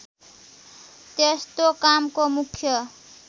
त्यस्तो कामको मुख्य